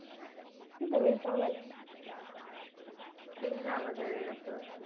ते नवीन song आले ना पिंगा वागेरे अस